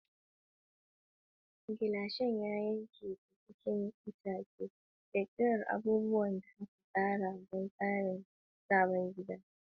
Gilashin ya yanke ta cikin itace, ƙirƙirar abubuwan da aka tsara don tsarin sabon gida.